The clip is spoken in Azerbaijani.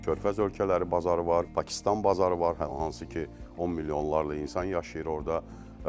Körfəz ölkələri bazarı var, Pakistan bazarı var, hansı ki 10 milyonlarla insan yaşayır orda.